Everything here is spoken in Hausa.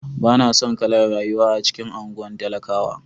Ba na son kalar rayuwa a cikin anguwan talakawa.